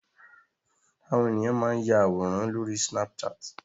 Àwọn ènìyàn máa ń ya àwòrán lóri snapchat.